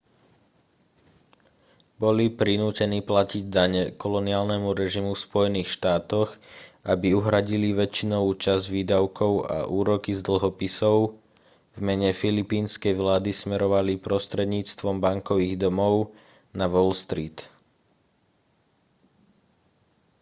boli prinútení platiť dane koloniálnemu režimu v spojených štátoch aby uhradili väčšinovú časť výdavkov a úroky z dlhopisov v mene filipínskej vlády smerovali prostredníctvom bankových domov na wall street